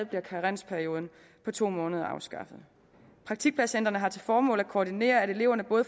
bliver karensperioden på to måneder afskaffet praktikpladscentrene har til formål at koordinere at eleverne